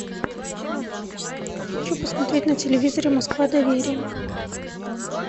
хочу посмотреть на телевизоре москва доверия